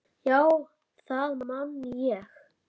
Já, það man ég